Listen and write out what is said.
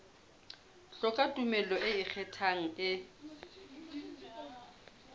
hloka tumello e ikgethang e